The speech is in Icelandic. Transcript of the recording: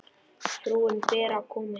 Frúin Bera kom ekki.